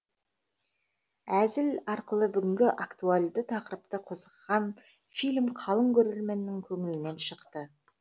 әзіл арқылы бүгінгі актуальды тақырыпты қозғаған фильм қалың көрерменнің көңілінен шықты